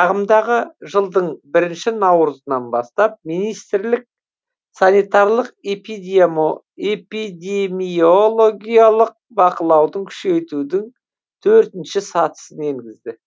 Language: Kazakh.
ағымдағы жылдың бірінші наурызынан бастап министрлік санитарлық эпидемиологиялық бақылауды күшейтудің төртінші сатысын енгізді